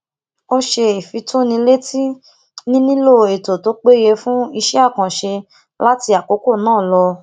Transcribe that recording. ó ṣe ìfitónilétí nílílò ètò tó péye fún iṣẹ àkànṣe láti àkókò náà lọ